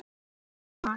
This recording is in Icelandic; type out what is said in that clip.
Staðan: Man.